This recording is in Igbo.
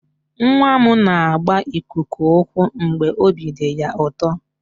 Nwa m na-agba ikuku ụkwụ mgbe obi dị ya ụtọ.